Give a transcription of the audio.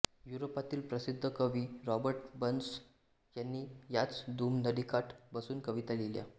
युरोपातील प्रसिद्ध कवी रॉबर्ट बर्न्स यानी याच दूूम नदीकाठी बसून कविता लिहिल्या